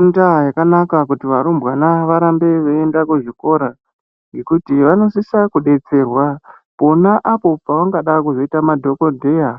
Indaa yakanaka kuti varumbwana varambe veienda kuzvikora ngekuti vanosisa kudetserwa pona apo pavangada kuzoita madhogodheya.